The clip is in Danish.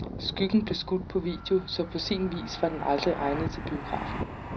Skyggen blev skudt på video, så på sin vis var den aldrig egnet til biografen.